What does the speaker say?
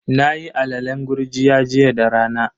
Nayi alalen gurjiya jiya da rana.